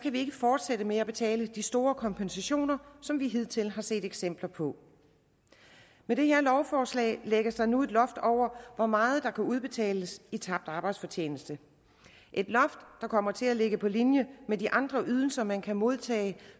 vi ikke fortsætte med at betale de store kompensationer som vi hidtil har set eksempler på med det her lovforslag lægges der nu et loft over hvor meget der kan udbetales i tabt arbejdsfortjeneste et loft der kommer til at ligge på linje med de andre ydelser man kan modtage